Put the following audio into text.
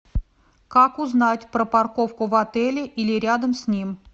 как узнать про парковку в отеле или рядом с ним